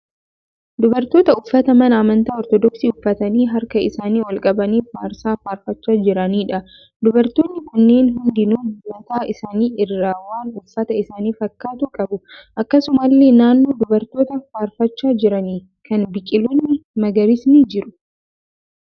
Dubartoota uffata mana amantaa 'Ortodoksii' uffatanii harka isaanii ol qabanii faarsaa faarfachaa jiraniidh. Dubartoonni kunneen hundinuu mataa isaanii irraa waan uffata isaanii fakkaatu qabu. Akkasumallee naannoo dubartoota faarfachaa jiranii kana biqiloonni magariisni jiru.